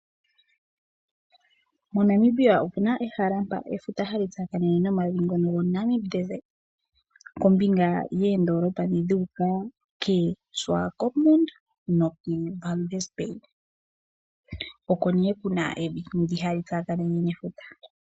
MoNamibia omuna ehala mpo efuta hali tsakanene nomavi ngono goNamib Desert kombinga yoondolopa dho dha uka keSwakopmud neWalvis Bay. Oko nee kuna evi ndoka hali tsakanene nefuta.